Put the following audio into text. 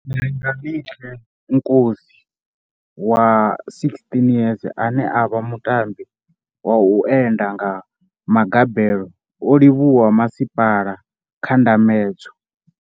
Langelihle Nkosi wa 16 years ane a vha mutambi wa u enda nga magabelo o livhuwa masipa la kha ndambedzo.